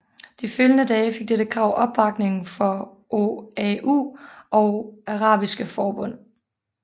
De følgende dage fik dette krav opbakning fra OAU og Arabiske Forbund